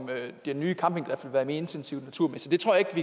en nye campingplads vil være mere intensiv naturmæssigt det tror jeg